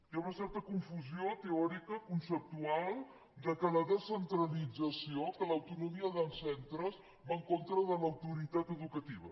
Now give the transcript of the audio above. hi ha una certa confusió teòrica conceptual que la descentralit·zació que l’autonomia de centres va en contra de l’au·toritat educativa